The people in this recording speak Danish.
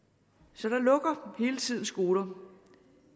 så der lukker hele tiden skoler